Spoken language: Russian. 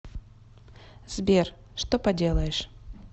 сбер что поделаешь